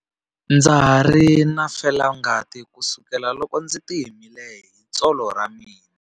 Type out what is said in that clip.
Ndza ha ri na felangati kusukela loko ndzi himile hi tsolo ra mina.